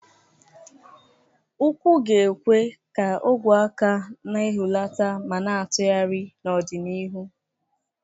Ụkwụ ga-ekwe ka ogwe aka na-ehulata ma na-atụgharị n'ọdịnihu.